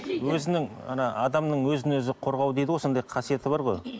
өзінің ана адамның өзін өзі қорғау дейді ғой сондай қасиеті бар ғой